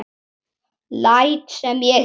Læt sem ég heyri.